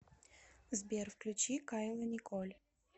сбер включи кайла николь